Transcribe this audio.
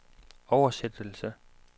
oversættelse